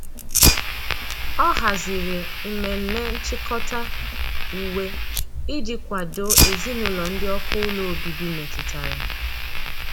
ọ hazịrị umeme nchikota uwe iji kwado ezinulo ndi ọkụ ụlọ ọbibi metụtara.